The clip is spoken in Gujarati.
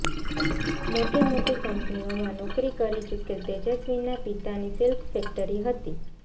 મોટી મોટી કંપનીઓમાં નોકરી કરી ચૂકેલ તેજસ્વીના પિતાની સિલ્ક ફેક્ટરી હતી